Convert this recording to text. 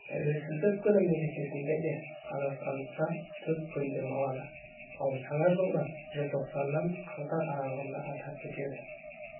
тәуелсіздік күні мерекесінде де қазақстандықтар төрт күн демалады ал жаңа жылды желтоқсаннан қаңтар аралығында атап өтеді